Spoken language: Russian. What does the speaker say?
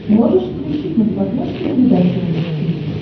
можешь включить на смотрешке передачу рубль ти ви